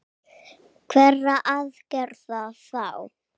Hverra aðgerða þá?